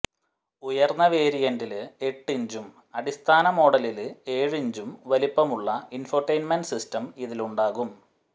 ഉയര്ന്ന വേരിയന്റില് എട്ട് ഇഞ്ചും അടിസ്ഥാന മോഡലില് ഏഴ് ഇഞ്ചും വലിപ്പമുള്ള ഇന്ഫോടെയ്ന്മെന്റ് സിസ്റ്റം ഇതിലുണ്ടാകും